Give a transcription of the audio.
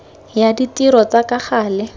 ya ditiro tsa ka gale